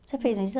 Você fez um